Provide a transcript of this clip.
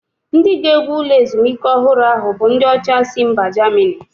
Ndị ga-ewu ụlọ ezumike ọhụrụ ahụ bụ ndị ọcha si mba Germany